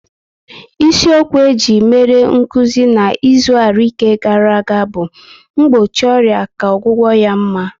Isi okwu eji mere nkụzi na izu arụike gara aga bụ "mgbochi ọrịa ka ọgwụgwụ ya mma"